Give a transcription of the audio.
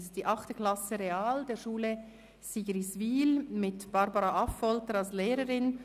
Es ist die 8. Klasse Real der Schule Sigriswil mit Barbara Affolter als Lehrerin.